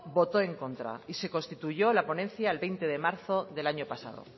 votó en contra y se constituyó la ponencia el veinte de marzo del año pasado